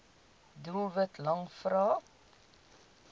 doelwit lang vrae